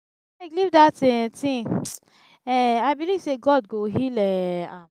abeg leave dat um thing um i believe say god go heal um am.